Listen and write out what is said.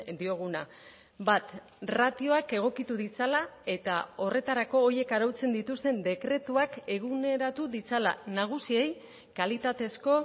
dioguna bat ratioak egokitu ditzala eta horretarako horiek arautzen dituzten dekretuak eguneratu ditzala nagusiei kalitatezko